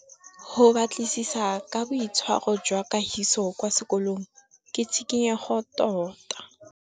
Go batlisisa ka boitshwaro jwa Kagiso kwa sekolong ke tshikinyêgô tota.